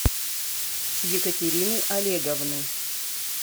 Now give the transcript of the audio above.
екатерины олеговны